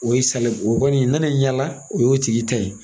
O ye sana o kɔni nana yaŋa, o de y'o tigi ta ye.